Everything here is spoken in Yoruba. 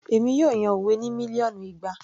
Èmi yóò yan òwe ní mílíọ̀nù ìgbà